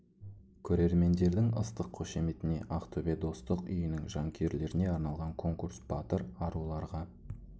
көрермендердің ыстық қошеметіне ақтөбе достық үйінің жанкүйерлеріне арналған конкурс батыр аруларғa